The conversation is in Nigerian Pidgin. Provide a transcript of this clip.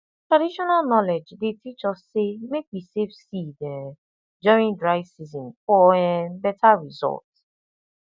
traditional knowledge dey teach us say make we save seed um during dry season for um better result